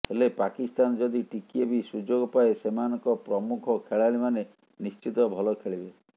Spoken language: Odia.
ହେଲେ ପାକିସ୍ତାନ ଯଦି ଟିକିଏ ବି ସୁଯୋଗ ପାଏ ସେମାନଙ୍କ ପ୍ରମୁଖ ଖେଳାଳିମାନେ ନିଶ୍ଚିତ ଭଲ ଖେଳିବେ